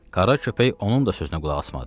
Qara köpək onun da sözünə qulaq asmadı.